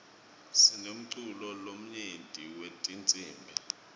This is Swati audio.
sinemculo lomnyenti wetinsibi